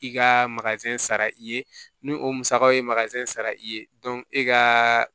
I ka sara i ye ni o musakaw ye sara i ye e ka